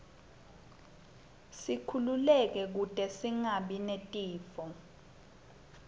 sikhululeke kute singabi netifo